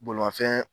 Bolimafɛn